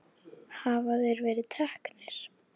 Hafa þeir verið teknir?